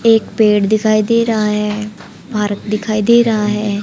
एक पेड़ दिखाई दे रहा है भारत दिखाई दे रहा है।